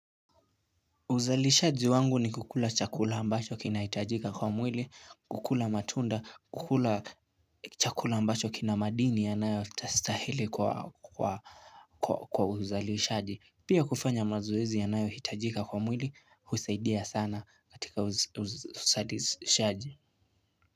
Uzalishaji wangu ni kukula chakula ambacho kinahitajika kwa mwili, kukula matunda, kukula chakula ambacho kina madini yanayostastahili kwa uzalishaji. Pia kufanya mazoezi yanayohitajika kwa mwili usaidia sana katika uzalishaji.